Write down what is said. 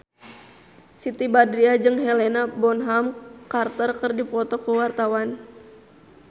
Siti Badriah jeung Helena Bonham Carter keur dipoto ku wartawan